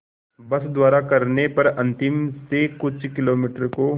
बस द्वारा करने पर अंतिम से कुछ किलोमीटर को